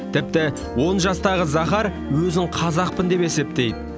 тіпті он жастағы захар өзін қазақпын деп есептейді